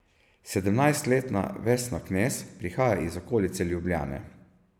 Sedemnajstletna Vesna Knez prihaja iz okolice Ljubljane.